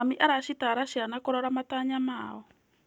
Mami aracitaara ciana kũrora matanya mao.